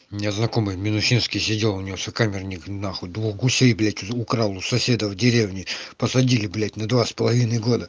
у меня знакомый в минусинске сидел у него сокамерник нахуй двух гусей блять украл у соседа в деревне посадили блять на два с половиной года